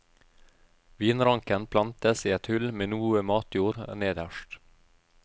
Vinranken plantes i et hull med noe matjord nederst.